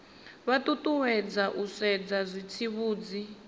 vha ṱuṱuwedzwa u sedza zwitsivhudzi